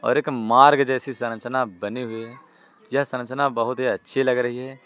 और एक मार्ग जैसी संरचना बनी हुई है। यह संरचना बहुत ही अच्छी लग रही है।